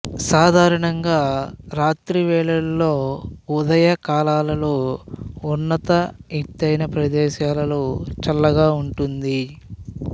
సాధారణంగా రాత్రివేళలో ఉదయకాలాలలో ఉన్నత ఎత్తైన ప్రదేశాలలో చల్లగా ఉంటుంది